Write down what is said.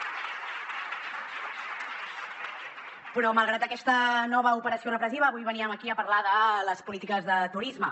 però malgrat aquesta nova operació repressiva avui veníem aquí a parlar de les polítiques de turisme